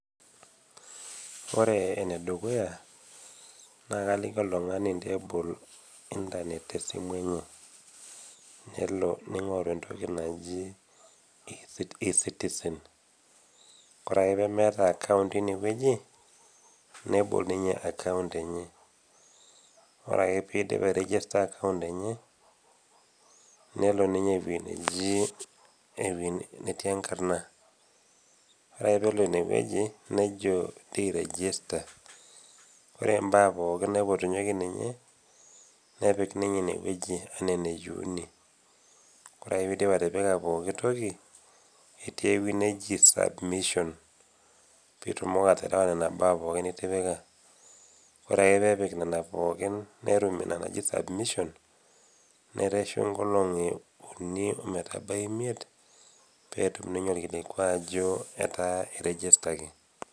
Ore ene dukuya naa kaliki oltung'ani injoo ebol internet te esimu enye, nelo neig'oru entoki naji eCitizen, ore ake pee meata akaount teinewueji, nebol ninye akaount enye, ore ake pee eidip airegista akaount enye, nelo ninye ewueji naji, ewueji natii enkarna. Ore ake pee elo ine wueji nojo inchoiregista, ore imbaa pooki naipotunyeki ninye, nepik ninye ine wueji anaa eneyouni ore ake pee eidip atipika pooki toki , etii ewueji naji submission, pee itumoki atipika Nena baa pooki nitipika, ore ake pee epik Nena pooki netum Ina najoi submission nereshu inoolong'i uni ometabaiki imiet pee etum taa ninye olkilikua aijo etaa eiregistaki.